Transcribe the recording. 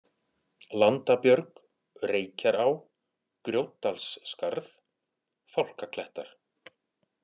Landabjörg, Reykjará, Grjótdalsskarð, Fálkaklettar